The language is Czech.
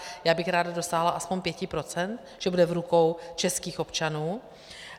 Já bych ráda dosáhla aspoň 5 procent, že bude v rukou českých občanů.